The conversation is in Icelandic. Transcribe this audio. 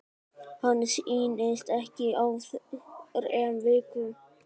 Hann snýst ekki á þrem vikum.